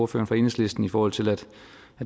for enhedslisten i forhold til at